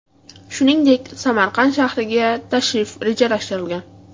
Shuningdek, Samarqand shahriga tashrif rejalashtirilgan.